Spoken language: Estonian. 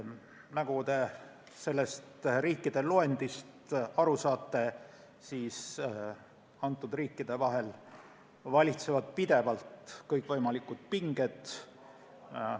Nagu te sellest riikide loendist aru saate, valitsevad nende maade vahel pidevalt kõikvõimalikud pinged.